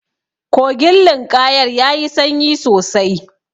Kogin linƙayar yayi sanyi sosai.